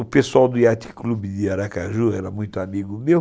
O pessoal do Yacht Club de Aracaju era muito amigo meu.